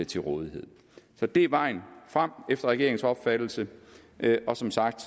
til rådighed så det er vejen frem efter regeringens opfattelse og som sagt